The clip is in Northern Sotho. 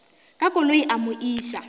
ka koloi a mo iša